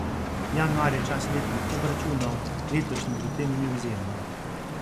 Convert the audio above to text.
Januar je čas letnih obračunov, letošnji v tem ni izjema.